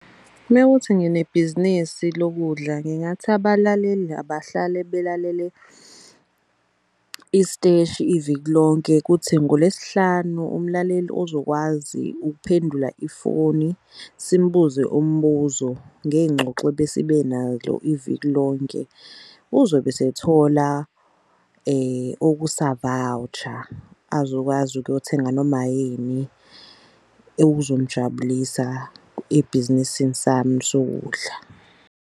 Mewuthi nginebhizinisi lokudla ngingathi abalaleli abahlale belalele isiteshi eviki lonke. Kuthi ngoLwesihlanu umlaleli ozokwazi ukuphendula ifoni simbuze umbuzo ngey'ngxoxo ebesibenalo iviki lonke uzobe esethola okusa-voucher. Azokwazi ukuyothenga noma yini ebhizinisini sami sokudla.